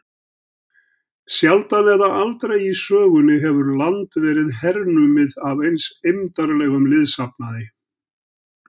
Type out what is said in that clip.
Sjaldan eða aldrei í sögunni hefur land verið hernumið af eins eymdarlegum liðsafnaði.